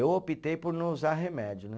Eu optei por não usar remédio, né?